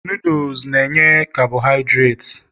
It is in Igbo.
noodles na enye carbohidirati